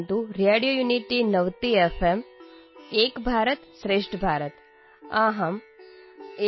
नमोनमः सर्वेभ्यः मम नाम गङ्गा भवन्तः शृण्वन्तु रेडियोयुनिटीनवतिएफ्